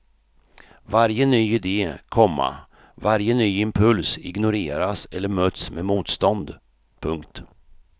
Varje ny idé, komma varje ny impuls ignoreras eller möts med motstånd. punkt